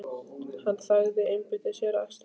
Hann þagði, einbeitti sér að akstrinum.